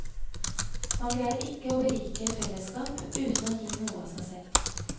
Man greier ikke å berike et fellesskap uten å gi noe av seg selv.